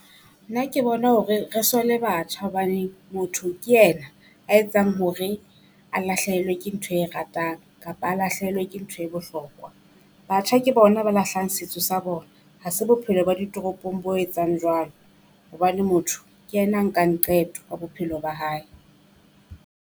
Nna ke bona hore re sole batjha, hobane motho ke ena a etsang hore a lahlehelwe ke ntho e ratang kapa a lahlehelwe ke ntho e bohlokwa. Batjha ke bona ba lahlang setso sa bona. Ha se bophelo ba ditoropong bo etsang jwalo, hobane motho ke ena a nkang qeto ya bophelo ba hae.